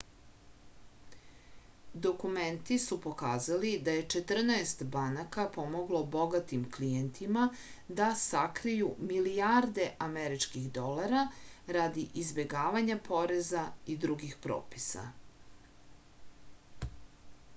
dokumenti su pokazali da je četrnaest banaka pomoglo bogatim klijentima da sakriju milijarde američkih dolara radi izbegavanja poreza i drugih propisa